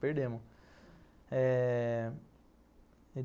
Perdemos. Eh...